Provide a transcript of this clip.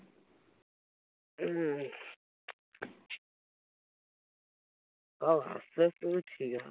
ঠিক আছে